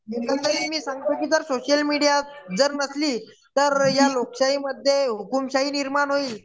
मध्यंतरी मी सांगतो सोशल मीडिया जर नसली तर या लोकशाहीमध्ये हुकूमशाही